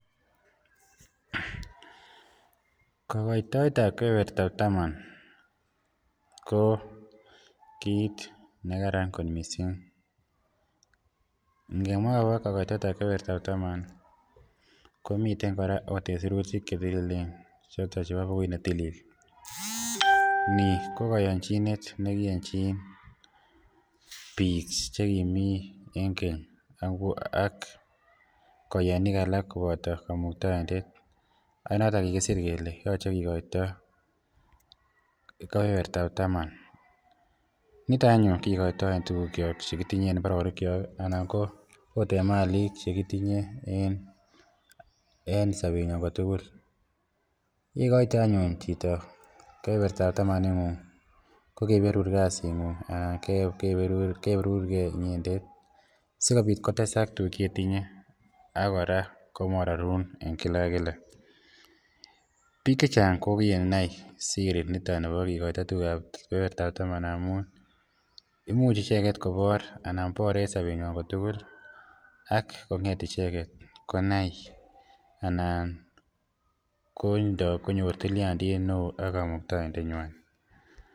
kogoitetab kebebertab taman ko kiit negaran kot mising, ngemwa oot kora agogo kogoitetab kebebertab taman komiten ooh kora en sirutik chetililen , ni ko koyonchinet negiyonchin biik chegimii en keny ak koyonik alak koboto komuktoindet ak noton kigisiir kele yoche kigoito kebebertab taman, niton anyun kigoitoi tuguuk kyook chekitinye en imbaronik kyook anan ko oot en maliik chegitijnye en sobenyon kotugul, yegoito anyuun chito kebebertaab taman ingun kogeberuur kasiit ngung anna kogeberurgee inyendet sigobiit kotesak tuguuk chetinye ak kora komororun en kila ak kila, biik chechang ko kinai siri niton nibo kigoito kebebertab taman amuun imuch icheget koboor anan bore en sobenywan kotugu ak konget icheget konai anan konyoor tilyandiit neoo ak kamuktoindet nywaan.